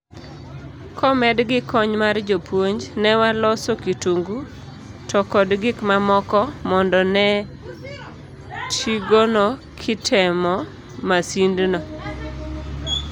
Komed gi kony mar jopuonj, newaloso kitungu, to kod gik mamoko mondo ne tigono kitemo masind no.